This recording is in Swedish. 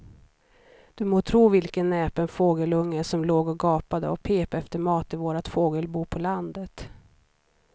Du må tro vilken näpen fågelunge som låg och gapade och pep efter mat i vårt fågelbo på landet.